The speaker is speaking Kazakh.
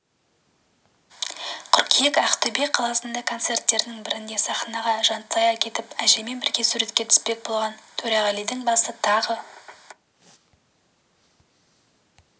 қыркүйек ақтөбе қаласындағы концерттердің бірінде сахнаға жантая кетіп әжеймен бірге суретке түспек болған төреғалидің басы тағы